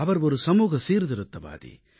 அவர் ஒரு சமூக சீர்திருத்தவாதி